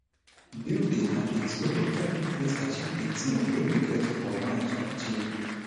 build di habits wey go help you fit achieve di thing wey you get for mind to achieve